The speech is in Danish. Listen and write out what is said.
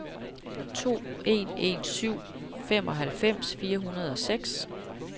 to en en syv femoghalvfems fire hundrede og seks